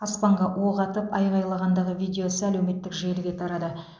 аспанға оқ атып айғайлағандағы видеосы әлеуметтік желіге тарады